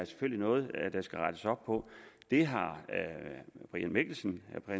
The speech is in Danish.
noget der skal rettes op på det har herre brian mikkelsen